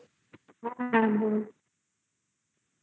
আ